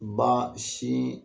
Baa sii